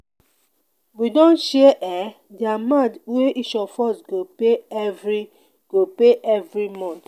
we don share um di amount wey each of us go pay every go pay every month.